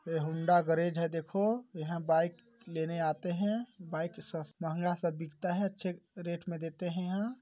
ए Honda garage है देखो यहाँ बाइक लेने आते है बाइक स महंगा सा बिकता है अच्छे रेट मे देते है यहां।